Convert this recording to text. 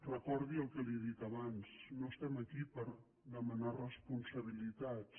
recordi el que li he dit abans no estem aquí per demanar responsabilitats